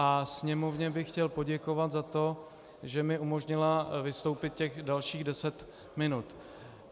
A Sněmovně bych chtěl poděkovat za to, že mi umožnila vystoupit těch dalších deset minut.